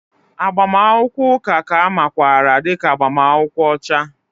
Agbamakwụkwọ ụka ka a makwaara dị ka agbamakwụkwọ ọcha